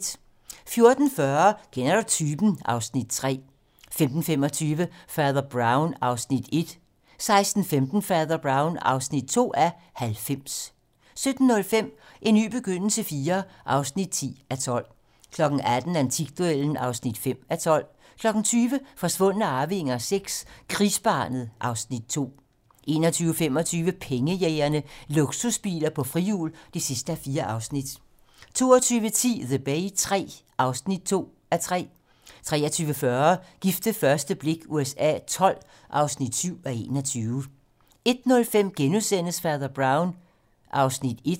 14:40: Kender du typen? (Afs. 3) 15:25: Fader Brown (1:90) 16:15: Fader Brown (2:90) 17:05: En ny begyndelse IV (10:12) 18:00: Antikduellen (5:12) 20:00: Forsvundne arvinger VI: Krigsbarnet (Afs. 2) 21:25: Pengejægerne - Luksusbiler på frihjul (4:4) 22:10: The Bay III (2:3) 23:40: Gift ved første blik USA XII (7:21) 01:05: Fader Brown (1:90)*